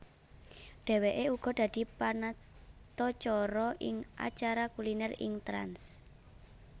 Dheweke uga dadi panatacara ing acara kuliner ing Trans